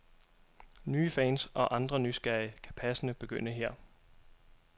Nye fans, og andre nysgerrige, kan passende begynde her.